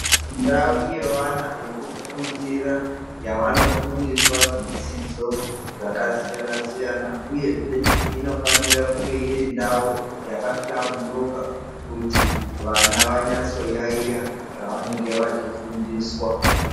Ndau yevana yekufundira yavanofundiswa zvidzidzo zvakasiyana-siyana, uyezve inofanira kunge iri ndau yakahlamburuka kuti vana vanyatso yayiya zvavanenge vachifundiswa.